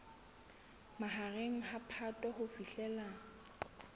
mahareng a phato ho fihlela